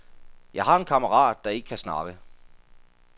Jeg har en kammerat, der ikke kan snakke.